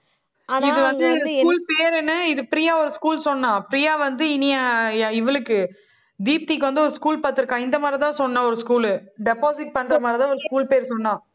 இது வந்து school பேரு என்ன? இது பிரியா ஒரு school சொன்னா. பிரியா வந்து இனியா இவளுக்கு. தீப்திக்கு வந்து ஒரு school பாத்து இருக்கா. இந்த மாதிரி தான் சொன்னா ஒரு school உ. deposit பண்ற மாதிரி தான் ஒரு school பேர் சொன்னா.